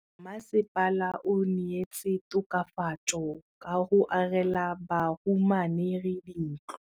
Mmasepala o neetse tokafatsô ka go agela bahumanegi dintlo.